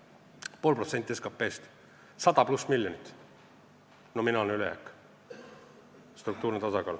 Nominaalne ülejääk on pool protsenti SKP-st, 100+ miljonit, lisaks struktuurne tasakaal.